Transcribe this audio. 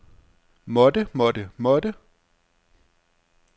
måtte måtte måtte